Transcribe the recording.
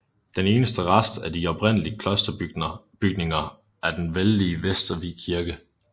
Den eneste rest af de oprindelig klosterbygninger er den vældige Vestervig Kirke